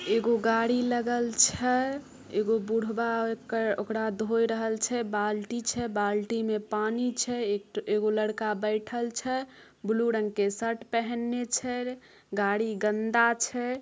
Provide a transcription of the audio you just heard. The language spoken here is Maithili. एगो गाड़ी लगल छै। एगो बुरभा अकड़ा धोय रहल छै। अक बाल्टी बाल्टी में पानी छै। एगो लड़का बैठएल छै ब्लू रंग के शर्ट पहिनने छै। गाड़ी गन्दा छै।